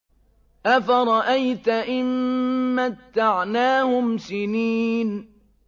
أَفَرَأَيْتَ إِن مَّتَّعْنَاهُمْ سِنِينَ